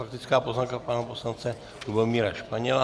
Faktická poznámka pana poslance Lubomíra Španěla.